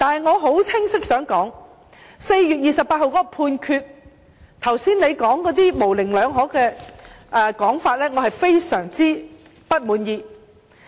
我想說清楚，有關4月28日的判決，對於局長剛才那些模棱兩可的說法，我感到非常不滿意。